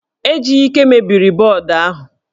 Ejike mebiri bọọdụ ahụ